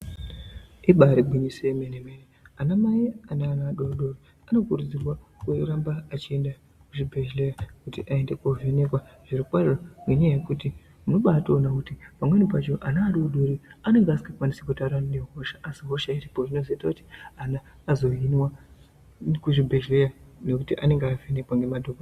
Ibari gwinyiso remene mene ana mai ane vana vadodori vanokurudzirwa kuramba vachienda kuzvibhedhlera kuti aende kovhenekwa unibatoona kuti pamweni pachona ana adodori anenge asingakwanisi kutaura asi hosha iripo zvinozoita kuti ana azohinika kuzvibhedhlera nekuti anenge avhenekwa.